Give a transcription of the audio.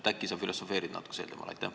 Äkki sa filosofeerid natuke sel teemal?